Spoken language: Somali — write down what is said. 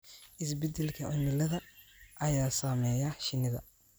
Isbeddelka cimilada ayaa saameeya shinnida.